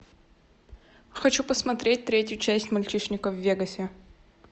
хочу посмотреть третью часть мальчишника в вегасе